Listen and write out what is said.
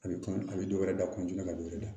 A bɛ kɔn a bɛ dɔ wɛrɛ da ka dɔ wɛrɛ da